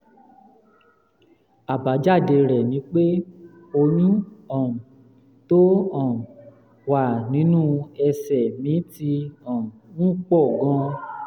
àbájáde rẹ̀ ni pé ọyún um tó um wà nínú ẹsẹ̀ mi ti um ń pọ̀ gan-an